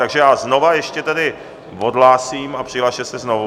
Takže já znovu ještě tedy odhlásím a přihlaste se znovu.